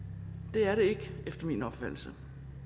det er det ikke efter min opfattelse